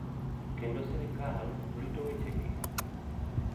Kendo sirkal rito wechegi .